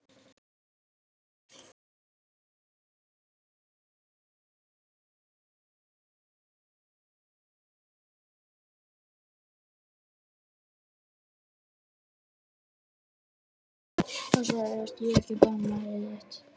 Passaðu þig að stíga ekki á bananahýðið þitt.